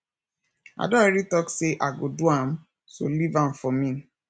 i don already talk say i go do am so leave am for me